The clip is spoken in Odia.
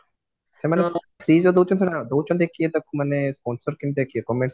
ସେମାନେ ଦଉଚନ୍ତି କିଏ ତାକୁ ମାନେ sponsor କେମିତିଆ କିଏ ମାନେ